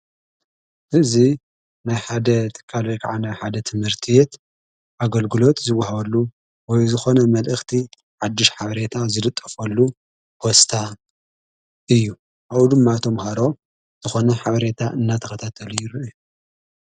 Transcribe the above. እዙ ናይ ሓደት ካልይ ከዓነይ ሓደት ምህርቲ የት ኣገልግሎት ዚይጐሃወሉ ወይ ዝኾነ መልእኽቲ ሓድሽ ሓብሬታ ዘድጠፍሉ ወስታ እዩ ኣኡ ድማ እቶም ሃሮ ዝኾነ ሓበሬታ እናተኽታ ተልይሩ እዩ።